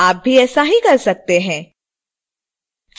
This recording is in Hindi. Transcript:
आप भी ऐसा ही कर सकते हैं